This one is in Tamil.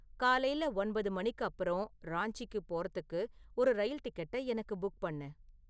காலைல ஒன்பது மணிக்கு அப்புறம் ராஞ்சிக்கு போறதுக்கு ஒரு ரயில் டிக்கெட்டை எனக்கு புக் பண்ணு